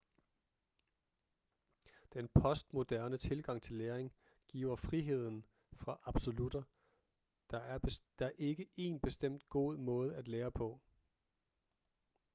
den postmoderne tilgang til læring giver friheden fra absolutter der er ikke én bestemt god måde at lære på